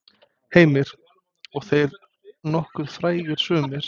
Heimir: Og þeir nokkuð frægir sumir?